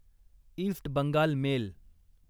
east Bengal mail